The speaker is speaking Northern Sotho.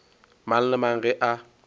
mang le mang ge a